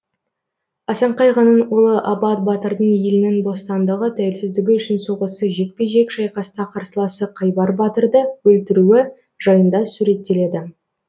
асан қайғының ұлы абат батырдың елінің бостандығы тәуелсіздігі үшін соғысы жекпе жек шайқаста қарсыласы қайбар батырды өлтіруі жайында суреттеледі